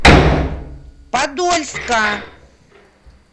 подольска